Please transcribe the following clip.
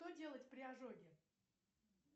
что делать при ожоге